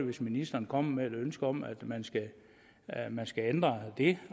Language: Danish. hvis ministeren kommer med et ønske om at man at man skal ændre det